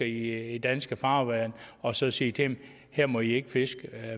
i danske farvande og så sige til dem her må i ikke fiske